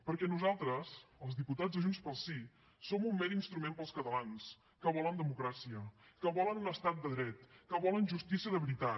perquè nosaltres els diputats de junts pel sí som un mer instrument per als catalans que volen democràcia que volen un estat de dret que volen justícia de veritat